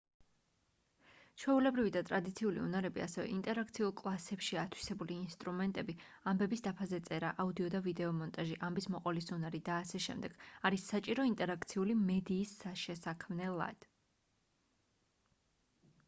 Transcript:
ჩვეულებრივი და ტრადიციული უნარები ასევე ინტერაქციულ კლასებში ათვისებული ინსტრუმენტები ამბების დაფაზე წერა აუდიო და ვიდეო მონტაჟი ამბის მოყოლის უნარი და აშ არის საჭირო ინტერაქციული მედიის შესაქმნელად